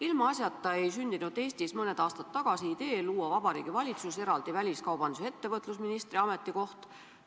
Ilmaasjata ei sündinud Eestis mõni aasta tagasi idee luua Vabariigi Valitsuses eraldi väliskaubandus- ja ettevõtlusministri ametikoht.